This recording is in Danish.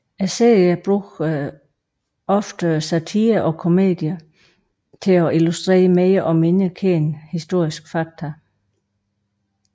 Serien bruger ofte satire og komedie til at illustrere mere og mindre kendte historiske fakta